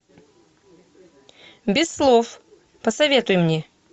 без слов посоветуй мне